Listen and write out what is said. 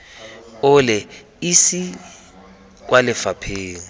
o le esi kwa lefapheng